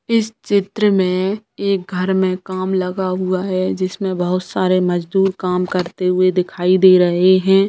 इस चित्र में एक घर में काम लगा हुआ है जिसमें बहुत सारे मजदुर काम करते हुए दिखाई दे रहे हैं।